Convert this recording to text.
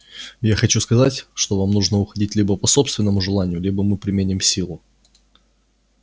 я хочу сказать что вам нужно уходить либо по собственному желанию либо мы применим силу